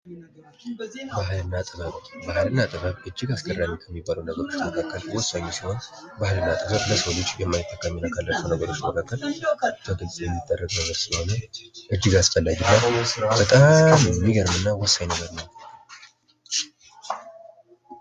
ባህልና ጥበብ፤ ባህልና ጥበብ እጅግ አስገራሚ ከሚባሉ ነገሮች መካከል ወሳኝ ሲሆን ባህልና ጥበብ ለሰው ልጅ የማይተካ ካላቸው ነገሮች መካከል የሚደረግ ነገር አለሆነ እጅግ አስፈላጊና በጣም የሚገርምና ወሳኝ ነገር ነው።